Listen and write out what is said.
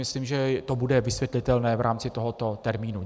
Myslím, že to bude vysvětlitelné v rámci tohoto termínu.